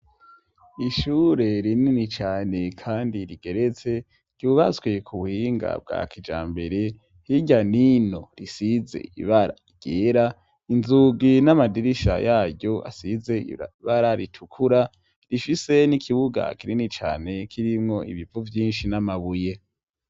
Ishure rinini cane kandi rigeretse, ryubatswe ku buhinga bwa kijambere, hirya n'ino risize ibara ryera, inzugi n'amadirisha yaryo asize ibara ritukura, rifise n'ikibuga kinini cane kirimwo ibivu vyinshi n'amabuye.